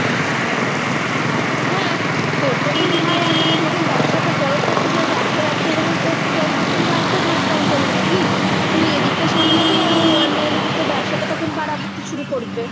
হ্যাঁ তোর যখন ভাই আছে তুই যখন ব্যবসাটা বড়ো করতে চাস একটা ব্যবসা যখন করতে চাস তখন ভাইকে যোগদান করিয়ে নিবি। তুই এদিকটা সামলাবি আর ও online এ যে তোর ব্যবসাটা তখন বাড়াতে শুরু করবে।